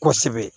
Kosɛbɛ